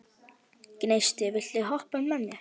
Gneisti, viltu hoppa með mér?